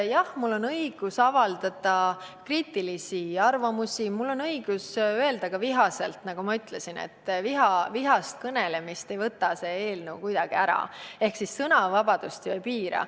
Jah, mul on õigus avaldada kriitilisi arvamusi ja mul on õigus öelda vihaselt – nagu ma ütlesin, vihast kõnelemist ei keela see eelnõu kuidagi ära, sõnavabadust see ei piira.